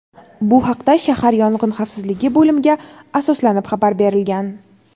Bu haqda shahar Yong‘in xavfsizligi bo‘limiga asoslanib xabar berilgan.